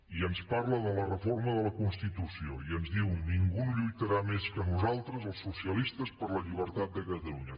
i ens parla de la reforma de la constitució i ens diu ningú no lluitarà més que nosaltres els socialistes per la llibertat de catalunya